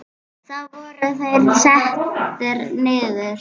Þá voru þeir settir niður.